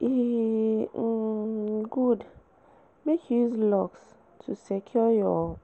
E um good make you use locks to secure your